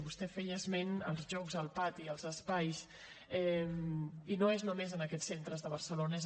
vostè feia esment dels jocs al pati dels espais i no és només en aquests centres de barcelona